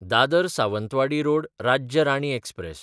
Dadar Sawantwadi road Rajya Rani express